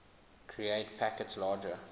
create packets larger